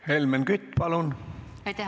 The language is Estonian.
Helmen Kütt, palun!